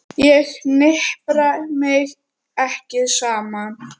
Ég hnipra mig ekki saman.